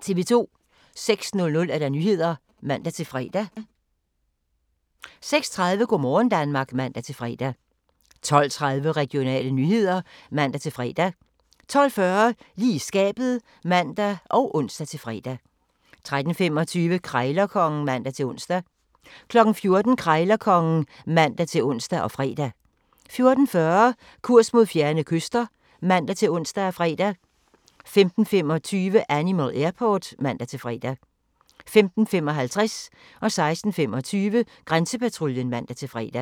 06:00: Nyhederne (man-fre) 06:30: Go' morgen Danmark (man-fre) 12:30: Regionale nyheder (man-fre) 12:40: Lige i skabet (man og ons-fre) 13:25: Krejlerkongen (man-ons) 14:00: Krejlerkongen (man-ons og fre) 14:40: Kurs mod fjerne kyster (man-ons og fre) 15:25: Animal Airport (man-fre) 15:55: Grænsepatruljen (man-fre) 16:25: Grænsepatruljen (man-fre)